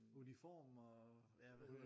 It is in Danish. Uniformer ja hvad hedder det